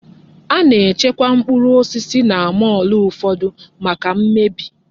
Ana-echekwa mkpụrụ osisi na mọọlụ ụfọdụ maka m mmebi.